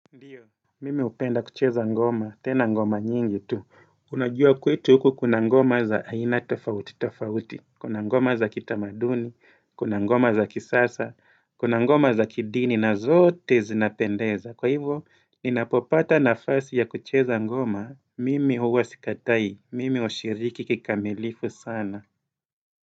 Ndiyo, mimi hupenda kucheza ngoma, tena ngoma nyingi tu, unajua kwetu huku kuna ngoma za aina tofauti tofauti, kuna ngoma za kitamaduni, kuna ngoma za kisasa, kuna ngoma za kidini na zote zinapendeza, kwa hivyo ni napopata nafasi ya kucheza ngoma, mimi huwa sikatai, mimi hushiriki kikamilifu sana.